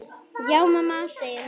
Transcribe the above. Já mamma, segir hann.